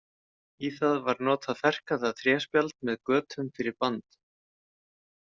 Í það var notað ferkantað tréspjald með götum fyrir band.